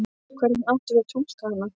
Hvernig áttum við að túlka hana?